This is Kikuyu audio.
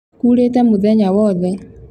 kurĩte muthenya wothe.